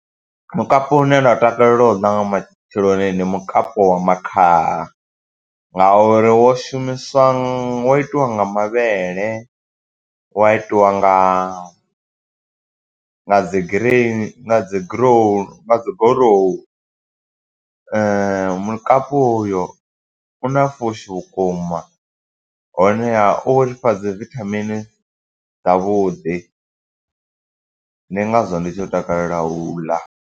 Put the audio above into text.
Mukapu une nda takalela u ḽa nga matsheloni, ndi mukapu wa makhaha. Nga uri wo shumiswa, wo itiwa nga mavhele, wa itiwa nga nga dzi green nga dzi goruwu. Mukapu uyo una fushi vhukuma, honeha uri fha dzi vithamini dza vhuḓi. Ndi ngazwo ndi tshi takalela u ḽa.